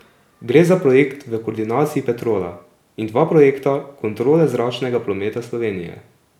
Gre za projekt v koordinaciji Petrola in dva projekta Kontrole zračnega prometa Slovenije.